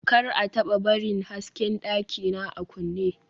kar a taba barin hasken dakina a kunne